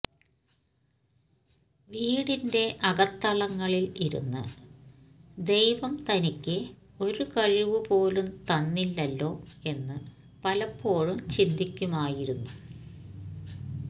വീടിന്റെ അകത്തളങ്ങളിൽ ഇരുന്ന് ദൈവം തനിക്ക് ഒരു കഴിവു പോലും തന്നില്ലല്ലോ എന്ന് പലപ്പോഴും ചിന്തിക്കുമായിരുന്നു